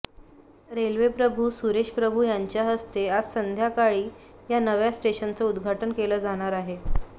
रेल्वेमंत्री सुरेश प्रभू यांच्या हस्ते आज संध्याकाळी या नव्या स्टेशनचं उद्धाटन केलं जाणार आहे